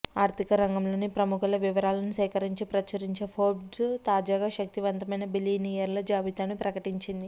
ఆర్థికరంగంలోని ప్రము ఖుల వివరాలను సేకరించి ప్రచురించే ఫోర్బ్స్ తాజాగా శక్తివంతమైన బిలియనీర్ల జాబితాను ప్రకటించింది